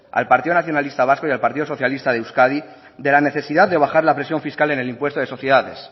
al partido nacionalista vasco y al partido socialista de euskadi de la necesidad de bajar la presión fiscal en el impuesto de sociedades